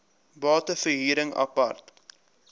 bate verhuring apart